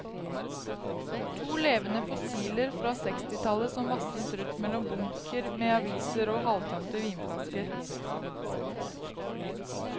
To levende fossiler fra sekstitallet som vasset rundt mellom bunker med aviser og halvtømte vinflasker.